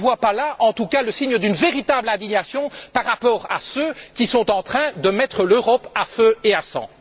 Je ne vois pas là, en tout cas, le signe d'une véritable indignation vis à vis de ceux qui sont en train de mettre l'Europe à feu et à sang.